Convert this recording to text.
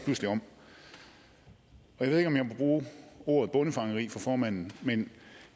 pludselig om jeg ved ikke om jeg må bruge ordet bondefangeri for formanden men